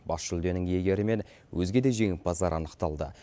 бас жүлденің иегері мен өзге де жеңімпаздар анықталды